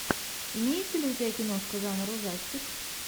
имеется ли у тебя киношка жанра ужастик